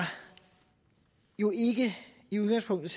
jo i udgangspunktet